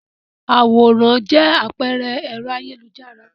Àwòrán jẹ àpẹẹrẹ ẹ̀rọ ayélujára.